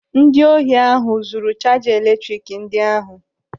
Ndị ohi ahụ zuru chaja eletrik ndị ahụ.